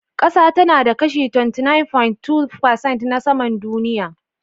Ƙasa tana da kashi 29.2% na saman duniya.